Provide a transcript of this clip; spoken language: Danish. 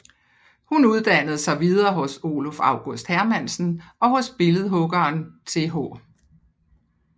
Hun uddannede sig videre hos Oluf August Hermansen og hos billedhuggeren Th